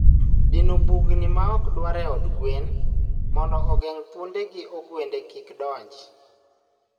dino bugni maok dwarre e od gwen mondo ogeng' thuonde gi ogwende kik donj.